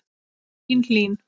Þín Hlín.